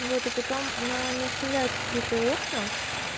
вот и потом она не оставляет открытые окна